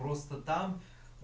просто там